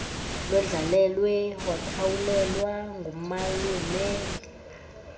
londlalelwe wakhawulelwa ngumalume